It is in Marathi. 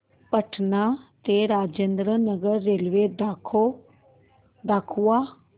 पटणा ते राजेंद्र नगर रेल्वे दाखवा